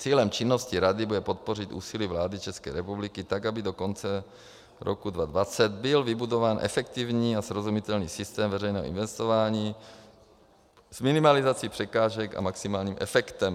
Cílem činnosti rady bude podpořit úsilí vlády České republiky tak, aby do konce roku 2020 byl vybudován efektivní a srozumitelný systém veřejného investování s minimalizací překážek a maximálním efektem.